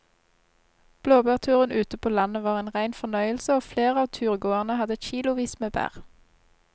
Blåbærturen ute på landet var en rein fornøyelse og flere av turgåerene hadde kilosvis med bær.